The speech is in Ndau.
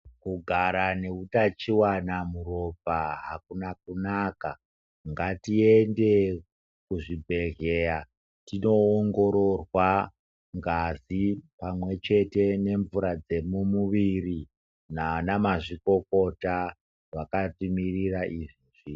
Kugara neutachiwana muropa hakuna kunaka. Ngatiende kuzvibhedhleya tinoongororwa ngazi pamwechete nemvura dzemumuviri nana mazvikokota vakatimirira izvezvi.